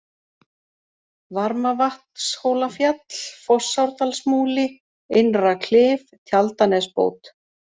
Varmavatnshólafjall, Fossárdalsmúli, Innra-Klif, Tjaldanesbót